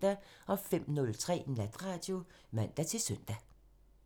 05:03: Natradio (man-søn)